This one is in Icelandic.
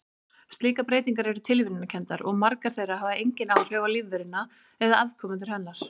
Slíkar breytingar eru tilviljunarkenndar og margar þeirra hafa engin áhrif á lífveruna eða afkomendur hennar.